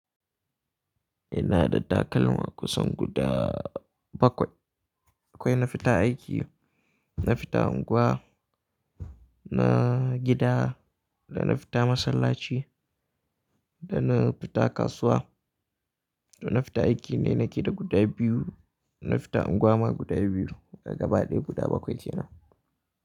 Ina da takalma kusan guda bakwai. Akwai na fita aiki, na fita unguwa, na gida, da na fita masallaci, da na fita kasuwa. To na fita aiki ne nake da guda biyu, na fita unguwa ma guda biyu, gaba ɗaya guda bakwai ke nan.